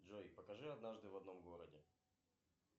джой покажи однажды в одном городе